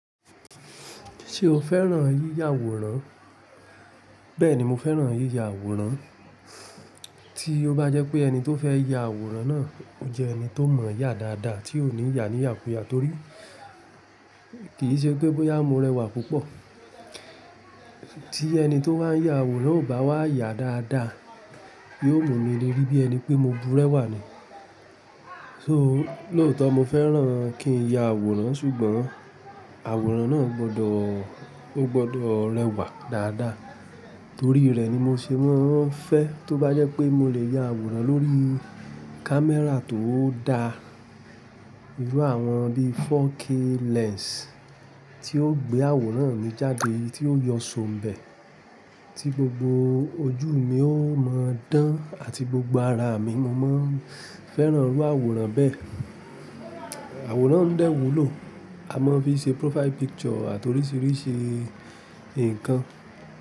Ṣé o fẹ́ràn yíya àwòrán? Bẹ́ẹ̀ni mo fẹ́ràn yíya àwòrán, tí ó bá jẹ́ pé ẹni tó fẹ́ ya àwòrán náà jẹ ẹni tó mọ̀ọ́ yá dáadáa tí ó ní ìyà ní ìyàkuyà torí kì í ṣe pé bóyá mo rẹwà púpọ̀. Tí ẹni tó bá ń ya àwòrán ò bá wá yá dáadáa, yóò mú mi lé rí bí ẹni pé mo burẹ́wà ni. So lóòótọ́ mo fẹ́ràn kí n ya àwòrán ṣùgbọ́n àwòrán náà gbọdọ̀, ó gbọdọ̀ rẹwà dáadáa. Torí rẹ̀ ni mo ṣe mọ́ fẹ́ tó bá jẹ́ pé mo lè ya àwòrán lórí camera tó dáa. Irú àwọn bí 4k lens tí yóò gbé àwòrán mi jáde tí yóò yọ sóńbẹ̀, tí gbogbo ojú mi ó mọ dán àti gbogbo ara mi mo máa ń fẹ́ràn rú àwòrán bẹ́ẹ̀. Àwòrán ń dẹ́wù ló, a máa ń fi ṣe profile picture àti oríṣiríṣi ǹkan.